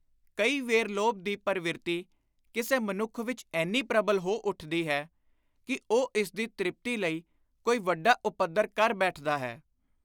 ਕਈ ਵੇਰ ਲੋਭ ਦੀ ਪਰਵਿਰਤੀ ਕਿਸੇ ਮਨੁੱਖ ਵਿਚ ਏਨੀ ਪ੍ਰਬਲ ਹੋ ਉੱਠਦੀ ਹੈ ਕਿ ਉਹ ਇਸਦੀ ਤ੍ਰਿਪਤੀ ਲਈ ਕੋਈ ਵੱਡਾ ਉਪੱਦਰ ਕਰ ਬੈਠਦਾ ਹੈ।